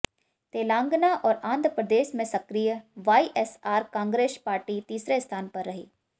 तेलंगाना और आंध्र प्रदेश में सक्रिय वाईएसआर कांग्रेस पार्टी तीसरे स्थान पर रही